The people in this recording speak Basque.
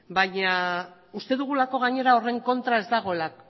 uste dugulako gainera horren kontra ez dagoela